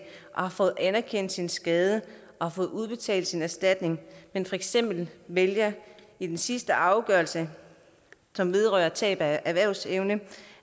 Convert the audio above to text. har fået anerkendt sin skade og har fået udbetalt sin erstatning men for eksempel vælger i den sidste afgørelse som vedrører tab af erhvervsevne